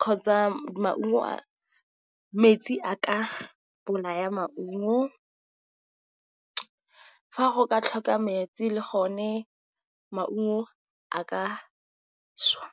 kgotsa metsi a ka bolaya maungo. Fa go ka tlhoka metsi le gone maungo a ka swa.